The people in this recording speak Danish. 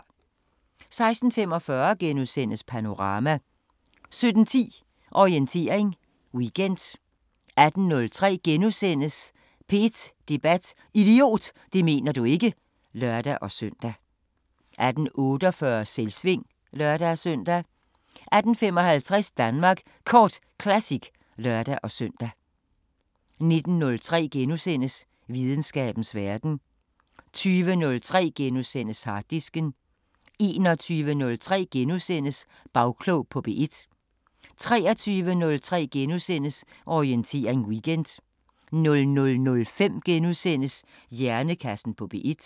16:45: Panorama * 17:10: Orientering Weekend 18:03: P1 Debat: Idiot, det mener du ikke! *(lør-søn) 18:48: Selvsving (lør-søn) 18:55: Danmark Kort Classic (lør-søn) 19:03: Videnskabens Verden * 20:03: Harddisken * 21:03: Bagklog på P1 * 23:03: Orientering Weekend * 00:05: Hjernekassen på P1 *